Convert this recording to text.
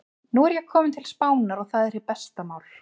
Nú er ég kominn til Spánar. og það er hið besta mál.